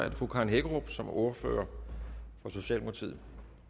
er det fru karen hækkerup som ordfører for socialdemokratiet